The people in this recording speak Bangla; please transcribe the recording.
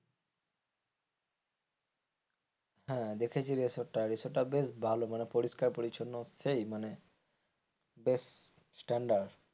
হ্যাঁ দেখেছি রিসোর্টটা রিসোর্টটা বেশ ভালো মানে পরিষ্কার পরিচ্ছন্ন সেই মানে বেশ stander